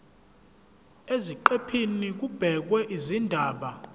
eziqephini kubhekwe izindaba